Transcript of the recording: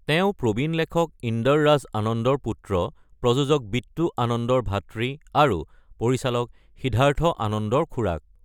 তেওঁ প্ৰবীণ লেখক ইন্দৰ ৰাজ আনন্দৰ পুত্ৰ, প্ৰযোজক বিট্টু আনন্দৰ ভাতৃ আৰু পৰিচালক সিদ্ধাৰ্থ আনন্দৰ খুৰাক।